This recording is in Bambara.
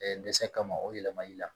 dɛsɛ kama o yɛlɛmali la